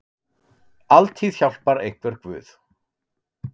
Altíð hjálpar einhver guð.